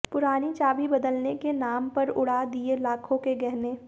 पुरानी चाबी बदलने के नाम पर उड़ा दिए लाखों के गहने